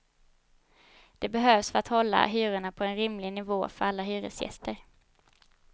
Det behövs för att hålla hyrorna på en rimlig nivå för alla hyresgäster.